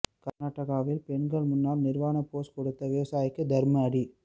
கர்நாடகாவில் பெண்கள் முன் நிர்வாண போஸ் கொடுத்த விவசாயிக்கு தர்ம அடி